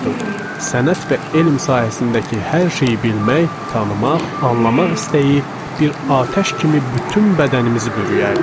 Sənət və elm sahəsindəki hər şeyi bilmək, tanımaq, anlamaq istəyi bir atəş kimi bütün bədənimizi bürüyərdi.